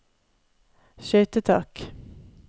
skøytetak